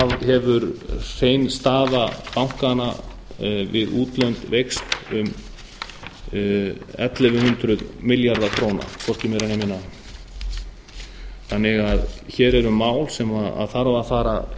hefur hrein staða bankanna við útlönd veikst um ellefu hundruð milljarða króna hvorki meira né minna hér eru því mál sem þarf að fara